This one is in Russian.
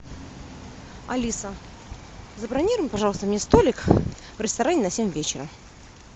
алиса забронируй пожалуйста мне столик в ресторане на семь вечера